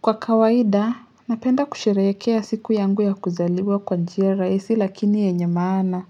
Kwa kawaida, napenda kusheherekea siku yangu ya kuzaliwa kwa njia rahisi lakini yenye maana.